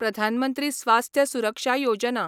प्रधान मंत्री स्वास्थ्य सुरक्षा योजना